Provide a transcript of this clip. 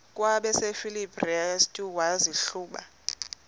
kwabasefilipi restu wazihluba